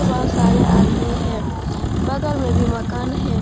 बहोत सारे आदमी है बगल में भी मकान है।